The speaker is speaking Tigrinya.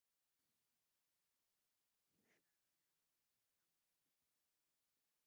ሰብኣይ ኣብዑር ተጠቒሙ እንትሓርስ እግሪ እግሪ እቲ ሓረስታይ ድማ ሰብኣይን ሰበይትን እንትዘርኡ ይርአዩ ኣለዉ፡፡ እዚ